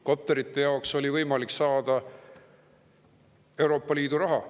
Kopterite jaoks oli võimalik saada Euroopa Liidu raha.